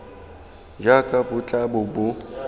jaaka bo tla bo bo